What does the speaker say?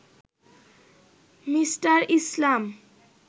Me. Islam